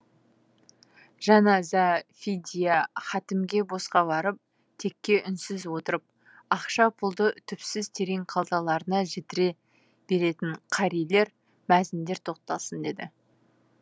жаназа фидия хатімге босқа барып текке үнсіз отырып ақша пұлды түпсіз терең қалталарына жітіре беретін қарилер мәзіндер тоқталсын деді